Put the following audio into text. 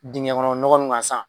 Dingɛ kɔnɔ ɲɔgɔ gansan.